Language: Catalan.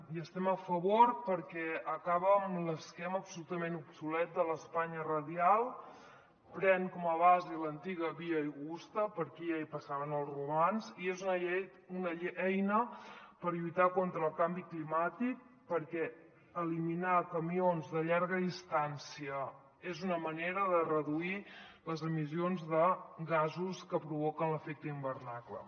hi estem a favor perquè acaba amb l’esquema absolutament obsolet de l’espanya radial pren com a base l’antiga via augusta per aquí ja hi passaven els romans i és una eina per lluitar contra el canvi climàtic perquè eliminar camions de llarga distància és una manera de reduir les emissions de gasos que provoquen l’efecte hivernacle